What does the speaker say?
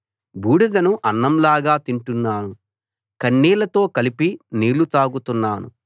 బూడిదను అన్నం లాగా తింటున్నాను కన్నీళ్ళతో కలిపి నీళ్ళు తాగుతున్నాను